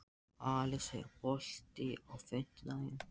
Alisa, er bolti á fimmtudaginn?